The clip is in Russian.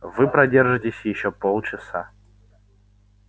вы продержитесь ещё полчаса